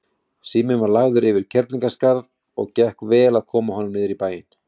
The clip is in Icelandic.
Síminn var lagður yfir Kerlingarskarð og gekk vel að koma honum niður í bæinn.